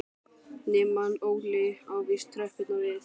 Nema hann Óli á víst tröppurnar við